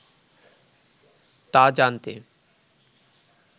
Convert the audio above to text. তা জানতে